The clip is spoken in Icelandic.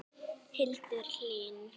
Hildur Hlín.